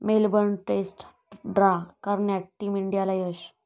Melbourne test draw करण्यात team इंडियाला यश